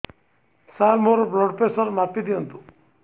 ସାର ମୋର blood pressure ମାପି ଦିଅନ୍ତୁ